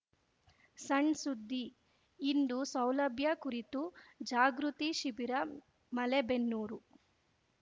ಸಣ್‌ ಸುದ್ದಿ ಇಂದು ಸೌಲಭ್ಯ ಕುರಿತು ಜಾಗೃತಿ ಶಿಬಿರ ಮಲೇಬೆನ್ನೂರು